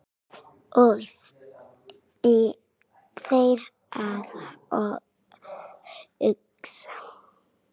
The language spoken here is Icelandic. Og fer að hugsa